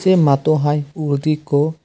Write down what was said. se matto hiy uguredi ekku.